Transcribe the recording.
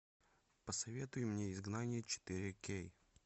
посоветуй мне изгнание четыре кей